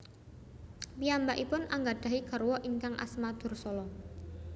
Piyambakipun anggadhahi garwa ingkang asma Dursala